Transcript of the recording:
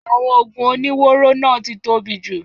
Àwọn oògùn oníwóró náà ti tóbi jù.